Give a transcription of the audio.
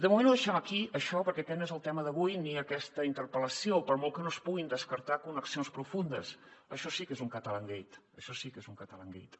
de moment ho deixem aquí això perquè aquest no és el tema d’avui ni aquesta interpel·lació per molt que no es puguin descartar connexions profundes això sí que és un catalangate això sí que és un catalangate